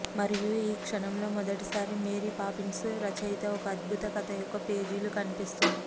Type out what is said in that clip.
మరియు ఈ క్షణంలో మొదటిసారి మేరీ పాపిన్స్ రచయిత ఒక అద్భుత కథ యొక్క పేజీలు కనిపిస్తుంది